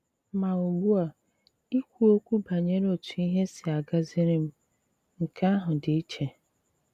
Mà ùgbu a, ìkwù òkwù banyere òtù ihe s̀ì àgàzìrì m — nke àhụ dị̀ ìchè.